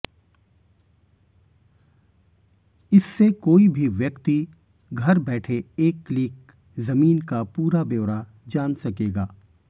इससे कोई भी व्यक्ति घर बैठे एक क्लिक जमीन का पूरा ब्योरा जान सकेगा